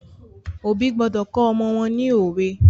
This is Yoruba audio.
Òbí gbọdọ̀ kọ́ ọmọ wọ́n ni òwe.